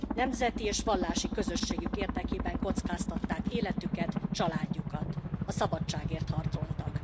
Nemzeti és vallási közösségük érdekében kockáztatták életüket, családjukat, a szabadságért harcoltak.